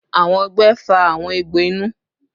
Awọn ọgbẹ fa awọn egbo inu